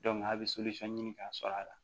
a bɛ ɲini k'a sɔrɔ a la